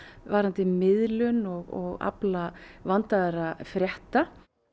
varðandi miðlun og afla vandaðra frétta